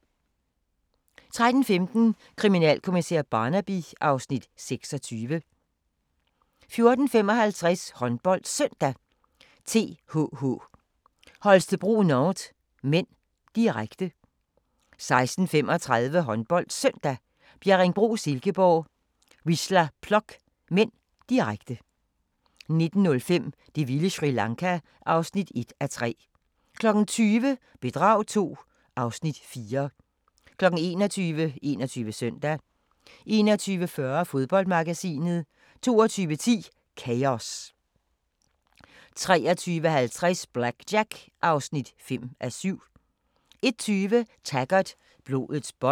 13:15: Kriminalkommissær Barnaby (Afs. 26) 14:55: HåndboldSøndag: TTH Holstebro-Nantes (m), direkte 16:35: HåndboldSøndag: Bjerringbro-Silkeborg - Wisla Plock (m), direkte 19:05: Det vilde Sri Lanka (1:3) 20:00: Bedrag II (Afs. 4) 21:00: 21 Søndag 21:40: Fodboldmagasinet 22:10: Chaos 23:50: BlackJack (5:7) 01:20: Taggart: Blodets bånd